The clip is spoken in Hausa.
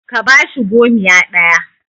ka bashi gomiya ɗaya!